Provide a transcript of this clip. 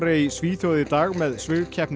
í Svíþjóð í dag með